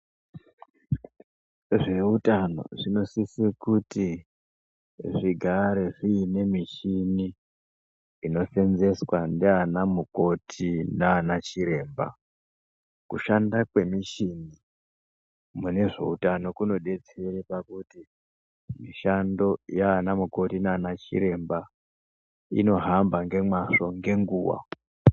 Zveutano zvinosise kuti zvigare zviine michini inoseenzeswa ngeana mukoti nanachiremba. Kushanda kwemishini mune zveutano kunodetsera pakuti mishando yanamukoti nanachiremba inohamba ngemwazvo ngenguva.